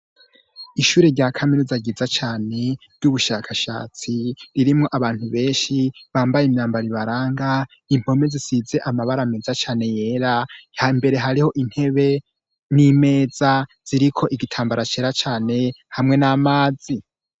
Ishure rya kaminuza ryiza cane ry'ubushakashatsi ririmwo abantu benshi bambaye imyambaro ibaranga impome zisize amabara meza cane yera imbere hariho intebe n'imeza ziriko igitambara cera cane hamwe n'amazi.